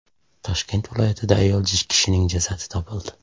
Toshkent viloyatida ayol kishining jasadi topildi.